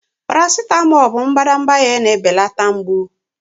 Paracetamol bụ mbadamba ihe na-ebelata mgbu.